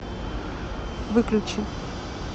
выключи